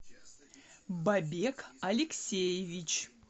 бабек алексеевич